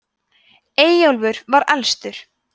eyjólfur var elstur